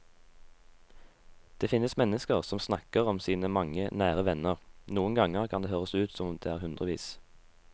Det finnes mennesker som snakker om sine mange nære venner, noen ganger kan det høres ut som om det er hundrevis.